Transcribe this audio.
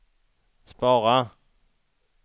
spara